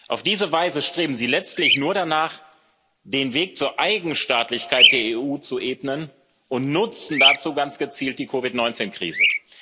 Auf diese Weise streben Sie letztlich nur danach, den Weg zur Eigenstaatlichkeit der EU zu ebnen, und nutzen dazu ganz gezielt die COVID 19 Krise.